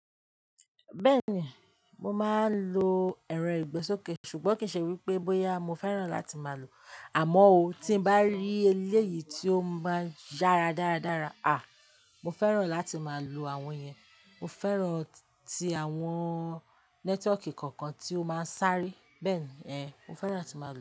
Bẹ́ẹ̀ni, mo máa ń lo ẹ̀rọ ìgbésókè, ṣùgbọ́n kì í ṣe wípé bóyá mo fẹ́ràn láti máa lò ó. Àmọ́ ó, tí n bá rí eléyìí tí ó máa ń yára dáradára, à, mo fẹ́ràn láti máa lò àwọn yẹn. Mo fẹ́ràn ti àwọn network kọ̀ọ̀kan tí ó máa ń sáré. Bẹ́ẹ̀ni, ẹé, mo fẹ́ràn láti máa lò wọ́n.